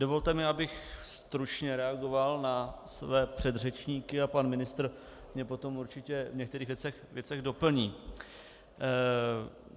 Dovolte mi, abych stručně reagoval na své předřečníky a pan ministr mě potom určitě v některých věcech doplní.